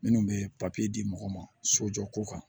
Minnu bɛ di mɔgɔ ma sojɔ ko kan